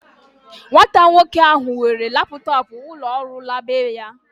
Nwata nwoke ahu were laptọọpụ ulo ọrụ la beya